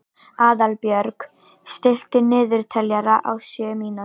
Aðalbjörg, stilltu niðurteljara á sjö mínútur.